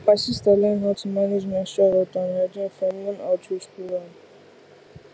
my sister learn how to manage menstrual health and hygiene from one outreach program